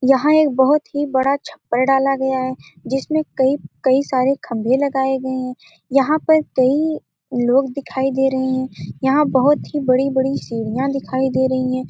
यहाँ एक बहुत ही बड़ा छप्पर डाला गया है जिसमें कई-कई सारे खम्बे लगाए गए है यहाँ पे कई लोग दिखाई दे रहे हैं यहाँ पे बहुत ही बड़ी-बड़ी सीढियाँ दिखाई दे रही हैं।